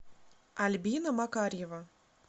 альбина макарьева